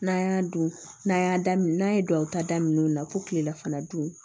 N'an y'a dun n'an y'a daminɛ n'an ye duwawu ta daminɛ o na fɔ kilela fana dun